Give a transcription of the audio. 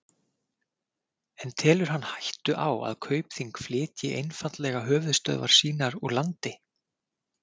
En telur hann hættu á að Kaupþing flytji einfaldlega höfuðstöðvar sínar úr landi?